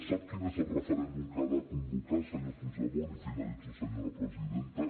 sap quin és el referèndum que ha de convocar senyor puigdemont i finalitzo senyora presidenta